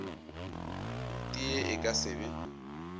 tee e ka se be